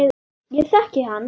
Ég þekkti hann